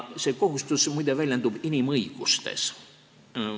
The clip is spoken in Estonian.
See kohustus, muide, väljendub inimõigustes.